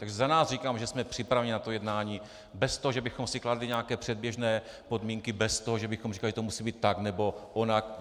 Takže za nás říkám, že jsme připraveni na to jednání bez toho, že bychom si kladli nějaké předběžné podmínky, bez toho, že bychom říkali, že to musí být tak nebo onak.